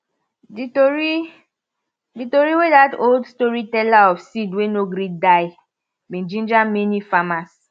d tori d tori wey dat old storyteller of seed wey no gree die be ginger many farmers